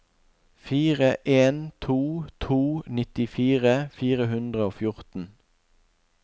fire en to to nittifire fire hundre og fjorten